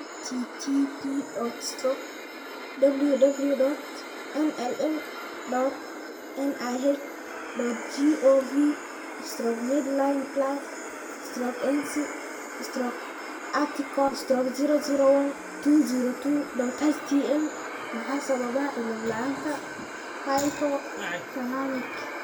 http://www.nlm.nih.gov/medlineplus/ency/article/001202.htm Maxaa sababa cillad la'aanta hypothalamic?